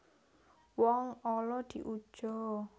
Wong ala diuja